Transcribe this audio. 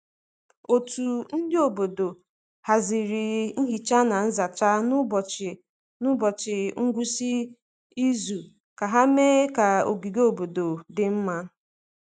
Otu ndi obodo haziri nhicha na nzacha n’ụbọchị n’ụbọchị ngwụsị izu ka ha mee ka ogige obodo dị mma.